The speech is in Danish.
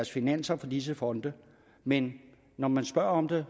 finanser fra disse fonde men når man spørger om det